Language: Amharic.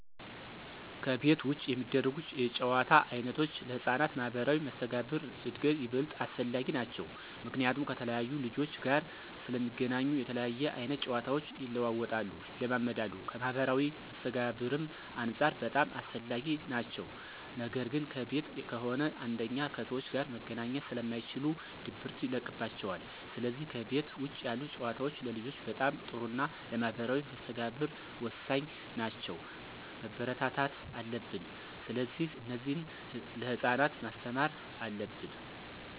ከቤት ውጭ የሚደረጉ የጨዋታ ዓይነቶች ለሕፃናት ማኅበራዊ መስተጋብር እድገት ይበልጥ አስፈላጊ ናቸዉ። ምክንያቱም ከተለያየ ልጆች ጋር ስለሚገናኙ የተለያየ አይነት ጨዋታቸው ይለዋወጣሉ፣ ይለማመዳሉ ከማህበራዊ መስተጋብርም አንፃር በጣም አስፈላጊ ናቸው ነገር ግን ከቤት ከሆነ አንደኛ ከሰዎች ጋር መገናኘት ስለማይችሉ ድብርት ይለቅባቸዋል ስለዚህ ከቤት ውጭ ያሉ ጨዋታዎች ለልጆች በጣም ጥሩና ለማህበራዊ መስተጋብር ወሳኝ ናቸው፣ መበረታታት አለብን። ስለዚህ እነዚህን ለህፃናት ማስተማር አለብን።